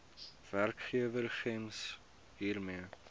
werkgewer gems hiermee